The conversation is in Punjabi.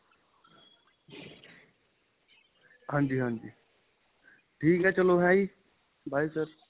ਹਾਂਜੀ ਹਾਂਜੀ ਠੀਕ ਏ ਚਲੋਂ ਹੈਜੀ bye sir